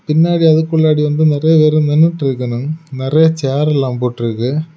பின்னாடி அதுக்குள்ளாடி வந்து நெறைய பேரு நின்னுட்டு இருக்கணு நெறைய சேர்ல போட்டு இருக்கு.